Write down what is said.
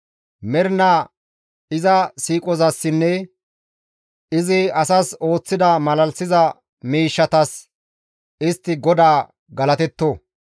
Mernaa iza siiqozassinne izi asas ooththida malalisiza miishshatas istti GODAA galatetto!